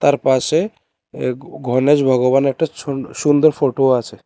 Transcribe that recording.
এ পাশে এ গণেশ ভগবানের একটা ছুন সুন্দর ফোটো আছে।